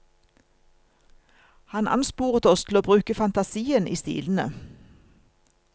Han ansporet oss til å bruke fantasien i stilene.